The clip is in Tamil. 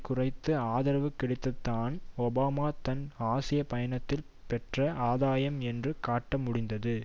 குறைந்த ஆதரவு கிடைத்ததைத்தான் ஒபாமா தன் ஆசிய பயணத்தில் பெற்ற ஆதாயம் என்று காட்ட முடிந்தது